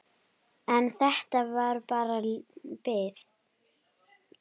En þetta var bara bið.